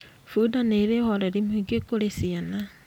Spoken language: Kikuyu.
Bunda nĩ ĩrĩ ũhoreri mũingĩ kũri ciana.